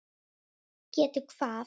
Getið hvað?